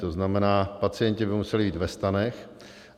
To znamená, pacienti by museli být ve stanech.